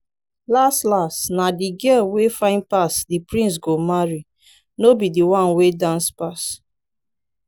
las las na the girl wey fine pass the prince go marry no be the one wey dance pass